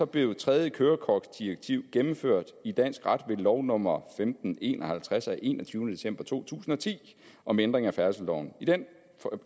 blev tredje kørekortdirektiv gennemført i dansk ret ved lov nummer femten en og halvtreds af enogtyvende december to tusind og ti om ændring af færdselsloven